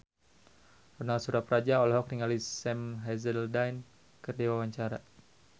Ronal Surapradja olohok ningali Sam Hazeldine keur diwawancara